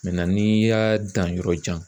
n'i y'a dan yɔrɔ jan